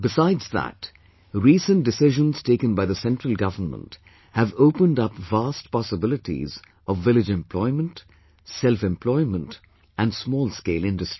Besides that, recent decisions taken by the Central government have opened up vast possibilities of village employment, self employment and small scale industry